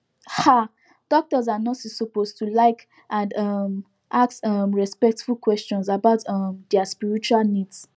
um doctors and nurses suppose to like and um ask um respectful questions about um dia spiritual needs